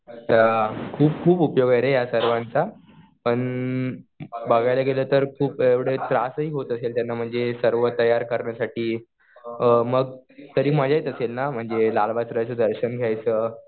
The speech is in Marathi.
अच्छा. खूप खूप उपयोग आहे रे या सर्वांचा. पण बघायला गेलो तर खूप एवढं त्रासही होत असेल त्यांना. म्हणजे सर्व तयार करण्यासाठी. मग तरी मजा येत असेल ना म्हणजे लालबागच्या राजाचं दर्शन घ्यायचं.